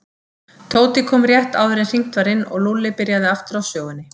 Tóti kom rétt áður en hringt var inn og Lúlli byrjaði aftur á sögunni.